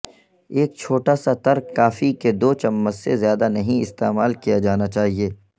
ایک چھوٹا سا ترک کافی کے دو چمچ سے زیادہ نہیں استعمال کیا جانا چاہئے